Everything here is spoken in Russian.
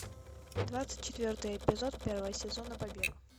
двадцать четвертый эпизод первого сезона побег